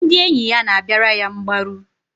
Ndị enyi ya na-abịara ya mgbaru.